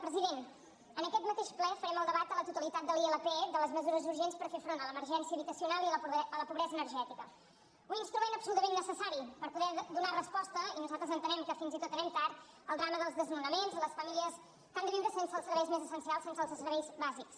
president en aquest mateix ple farem el debat a la totalitat de la ilp de les mesures urgents per fer front a l’emergència habitacional i a la pobresa energètica un instrument absolutament necessari per poder donar resposta i nosaltres entenem que fins i tot anem tard al drama dels desnonaments a les famílies que han de viure sense els serveis més essencials sense els serveis bàsics